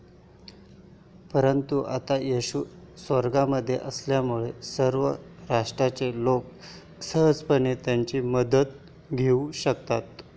परंतु आता येशू स्वर्गामध्ये असल्यामुळे सर्व राष्ट्राचे लोक सहजपणे त्याची मदत घेऊ शकतात.